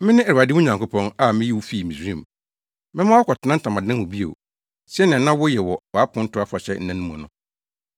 “Mene Awurade wo Nyankopɔn, a miyii wo fii Misraim. Mɛma woakɔtena ntamadan mu bio sɛnea na woyɛ wɔ wʼaponto afahyɛ nna mu no.